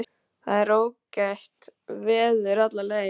Það var ágætt veður alla leið.